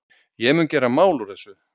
Ég mun gera mál úr þessu.